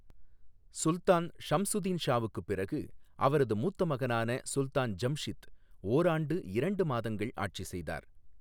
சுல்தான் ஷம்சுதின் ஷாவுக்குப் பிறகு அவரது மூத்த மகனான சுல்தான் ஜம்ஷித் ஓராண்டு இரண்டு மாதங்கள் ஆட்சி செய்தார்.